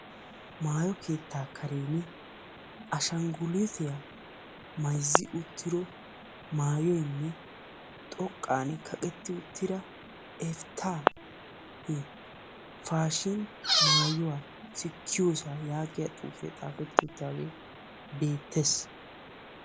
Maayo keettaa kareeni ashangulitiya mayzi uttido maayoynne xoqqan kaqetti uttida " Eftahi fashin maayuwa sikiyoosa" yaagiya xuufee xaafetti uttaagee beettes.